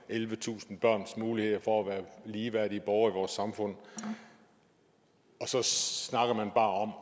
ellevetusind børns muligheder for at være ligeværdige borgere i vores samfund og så snakker man bare om